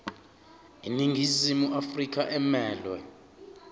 iningizimu afrika emelwe